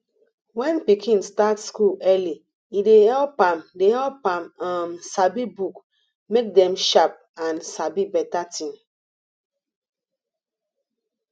when pikin start school early e dey help am dey help am um sabi book make dem sharp and sabi beta tin